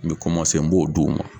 N bɛ n m'o d'o ma.